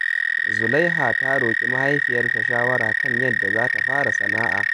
Zulaiha za ta roƙi mahaifiyarta shawara kan yadda za ta fara sana’a.